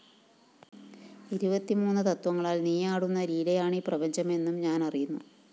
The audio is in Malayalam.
ഇരുപത്തിമൂന്ന് തത്വങ്ങളാല്‍ നീയാടുന്ന ലീലയാണീ പ്രപഞ്ചം എന്നും ഞാനറിയുന്നു